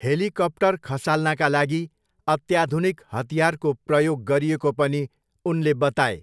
Helicopter खसाल्नका लागि अत्याधुनिक हतियारको प्रयोग गरिएको पनि उनले बताए।